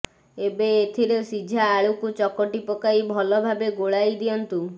ଏବେ ଏଥିରେ ସିଝା ଆଳୁକୁ ଚକଟି ପକାଇ ଭଲ ଭାବେ ଗୋଳାଇ ଦିଅନ୍ତୁ